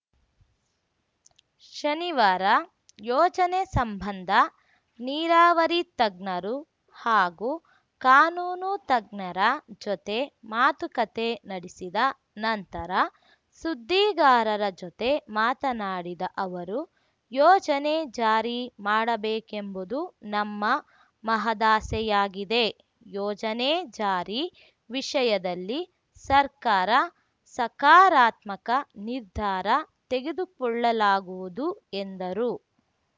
ಶನಿವಾರ ಯೋಜನೆ ಸಂಬಂಧ ನೀರಾವರಿ ತಜ್ಞರು ಹಾಗೂ ಕಾನೂನು ತಜ್ಞರ ಜೊತೆ ಮಾತುಕತೆ ನಡೆಸಿದ ನಂತರ ಸುದ್ದಿಗಾರರ ಜೊತೆ ಮಾತನಾಡಿದ ಅವರು ಯೋಜನೆ ಜಾರಿ ಮಾಡಬೇಕೆಂಬುದು ನಮ್ಮ ಮಹದಾಸೆಯಾಗಿದೆ ಯೋಜನೆ ಜಾರಿ ವಿಷಯದಲ್ಲಿ ಸರ್ಕಾರ ಸಕಾರಾತ್ಮಕ ನಿರ್ಧಾರ ತೆಗೆದುಕೊಳ್ಳಲಾಗುವುದು ಎಂದರು